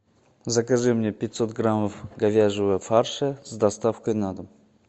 закажи мне пятьсот граммов говяжьего фарша с доставкой на дом